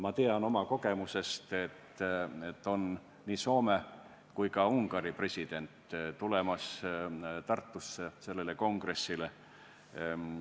Ma tean omast kogemusest, et nii Soome kui ka Ungari president on Tartusse kongressile tulemas.